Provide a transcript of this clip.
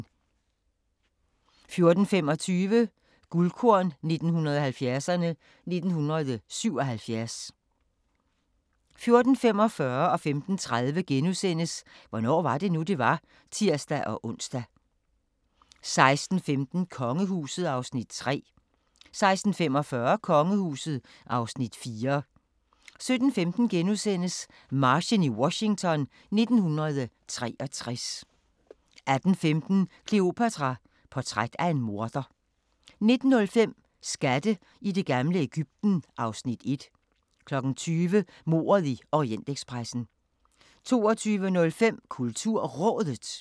14:25: Guldkorn 1970'erne: 1977 14:45: Hvornår var det nu, det var? *(tir-ons) 15:30: Hvornår var det nu, det var? *(tir-ons) 16:15: Kongehuset (Afs. 3) 16:45: Kongehuset (Afs. 4) 17:15: Marchen i Washington 1963 * 18:15: Kleopatra: Portræt af en morder 19:05: Skatte i det gamle Egypten (Afs. 1) 20:00: Mordet i Orientekspressen 22:05: KulturRådet